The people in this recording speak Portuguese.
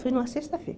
Foi numa sexta-feira.